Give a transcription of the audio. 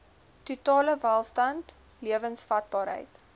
totale welstand lewensvatbaarheid